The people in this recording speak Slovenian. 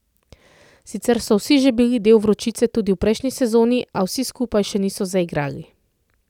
Sicer so vsi že bili del Vročice tudi v prejšnji sezoni, a vsi skupaj še niso zaigrali.